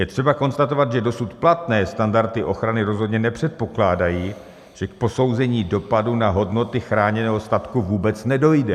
Je třeba konstatovat, že dosud platné standardy ochrany rozhodně nepředpokládají, že k posouzení dopadu na hodnoty chráněného statku vůbec nedojde.